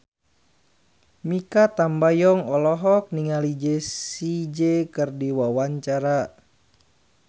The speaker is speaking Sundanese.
Mikha Tambayong olohok ningali Jessie J keur diwawancara